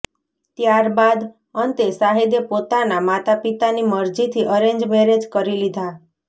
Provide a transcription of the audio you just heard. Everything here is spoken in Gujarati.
ત્યાર બાદ અંતે શાહિદે પોતાના માતા પિતાની મરજીથી અરેંજ મેરેજ કરી લીધા